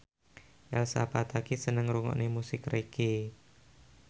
Elsa Pataky seneng ngrungokne musik reggae